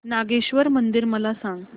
नागेश्वर मंदिर मला सांग